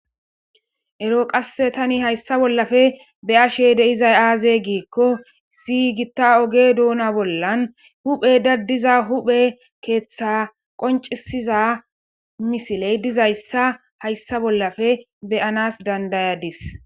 Ero tani qase haysa bolla be'ashe dizayis aze giiko issi gitta oge duna bolla huphe daziza huphe ketha qonicisiza misiley dizaysa haysa bolla be'anas danida'azis